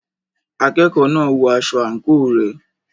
Akẹ́kọ̀ọ́ náà ń wọ aṣọ àǹkóò rẹ̀.